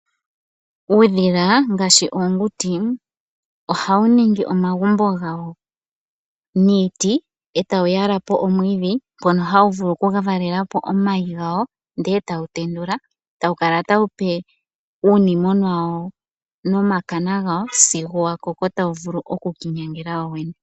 Uudhila ngaashi oonguti ohawu ningi omagumbo gawo niiti etawu yala ko omwiidhi. Ohawu vulu oku valela po omayi gawo, sigo tawu tendula eta wu kala tawupe uudhilona wawo nomilungu sigo wakoko tawu vulu oku kala hawu ki inyangela wowene.